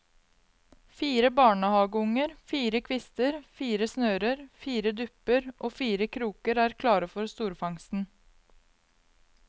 Fire barnehageunger, fire kvister, fire snører, fire dupper og fire kroker er klare for storfangsten.